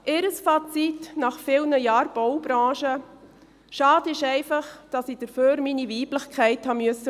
Ihr Fazit nach vielen Jahren Baubranche: Schade ist einfach, dass ich dafür meine Weiblichkeit aufgeben musste.